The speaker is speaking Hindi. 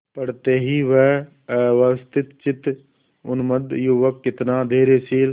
पड़ते ही वह अव्यवस्थितचित्त उन्मत्त युवक कितना धैर्यशील